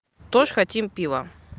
тоже хотим пиво